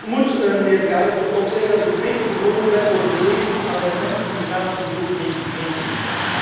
Maar ik moet mijnheer Geier toch ook zeggen dat ik een beetje verwonderd ben over de 17 amendementen die hij namens zijn fractie indient.